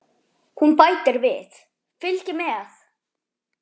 Hún bætir við: Fylgið mér